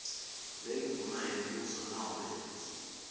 lendvuna yembuso nobe